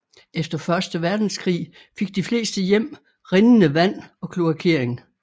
Efter første verdenskrig fik de fleste hjem rindende vand og kloakering